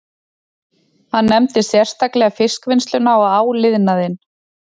Hann nefndi sérstaklega fiskvinnsluna og áliðnaðinn